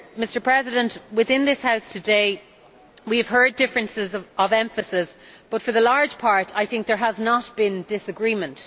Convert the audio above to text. Mr President, within this House today we have heard differences of emphasis but, for the large part, I think there has not been disagreement.